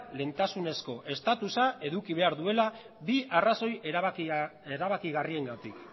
lehentasunezko estatusa eduki behar duela bi arrazoi erabakigarriengatik